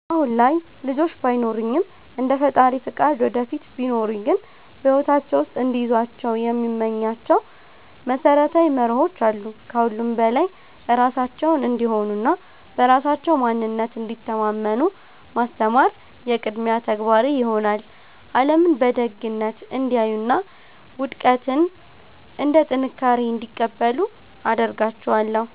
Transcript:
አሁን ላይ ልጆች ባይኖሩኝም፣ እንደ ፈጣሪ ፈቃድ ወደፊት ቢኖሩኝ ግን በሕይወታቸው ውስጥ እንዲይዟቸው የምመኛቸው መሰረታዊ መርሆዎች አሉ። ከሁሉም በላይ ራሳቸውን እንዲሆኑና በራሳቸው ማንነት እንዲተማመኑ ማስተማር የቅድሚያ ተግባሬ ይሆናል። ዓለምን በደግነት እንዲያዩና ውድቀትን እንደ ጥንካሬ እንዲቀበሉ አደርጋቸዋለሁ።